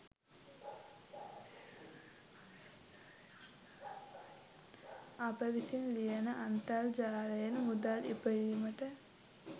අප විසින් ලියන අන්තරජාලයෙන් මුදල් ඉපයීමට